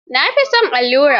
Na fi son allurar.